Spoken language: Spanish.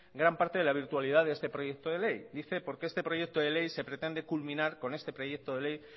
gran parte de la virtualidad de este proyecto de ley dice por qué este proyecto de ley se pretende culminar con este proyecto de ley